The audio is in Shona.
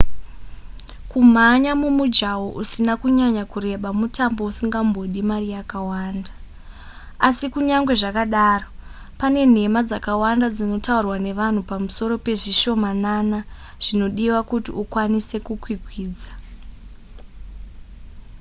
kumhanya mumujaho usina kunyanya kureba mutambo usingambodi mari yakawanda asi kunyange zvakadaro pane nhema dzakawanda dzinotaurwa nevanhu pamusoro pezvishomanana zvinodiwa kuti ukwanise kukwikwidza